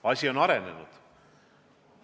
Asi on arenenud.